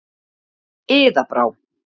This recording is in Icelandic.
Iða Brá.